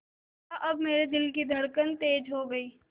देखा अब मेरे दिल की धड़कन तेज़ हो गई